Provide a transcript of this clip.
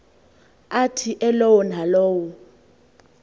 athi elowo nalowo